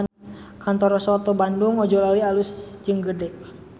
Kantor Soto Bandung Ojolali alus jeung gede